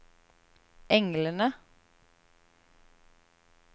englene